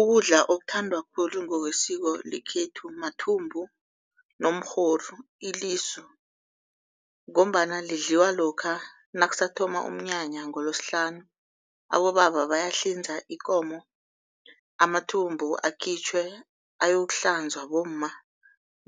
Ukudla okuthandwa khulu ngokwesiko lekhethu mathumbu nomrhoru, ilisu. Ngombana lidliwa lokha nakusathoma umnyanya ngoLosihlanu abobaba bayahlinza ikomo, amathumbu akhitjhwe ayokuhlanzwa bomma